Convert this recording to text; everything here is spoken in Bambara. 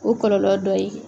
O kɔlɔlɔ dɔ ye.